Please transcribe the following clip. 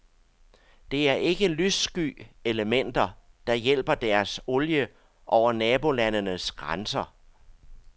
Det er ikke lyssky elementer, der hjælper deres olie over nabolandenes grænser.